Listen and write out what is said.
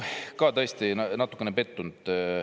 Ma tõesti olen natukene pettunud.